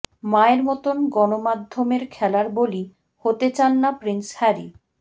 মায়ের মতো গণমাধ্যমের খেলার বলি হতে চান না প্রিন্স হ্যারি